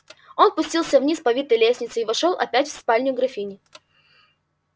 он спустился вниз по витой лестнице и вошёл опять в спальню графини